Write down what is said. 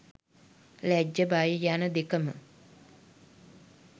ලැජ්ජ බය යන දෙකම